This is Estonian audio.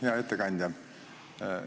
Hea ettekandja!